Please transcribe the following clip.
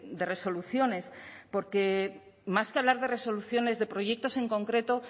de resoluciones porque más que hablar de resoluciones de proyectos en concreto